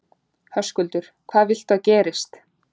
Höskuldur: Hvað viltu að gerist?